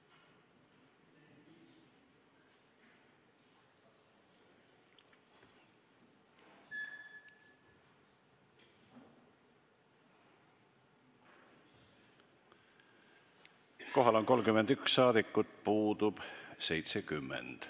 Kohaloleku kontroll Kohal on 31 rahvasaadikut, puudub 70.